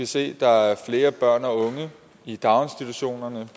se at der er flere børn og unge i daginstitutionerne